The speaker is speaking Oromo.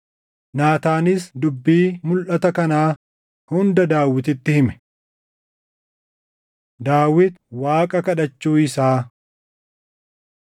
Naataanis dubbii mulʼata kanaa hunda Daawititti hime. Daawit Waaqa Kadhachuu Isaa 7:18‑29 kwf – 1Sn 17:16‑27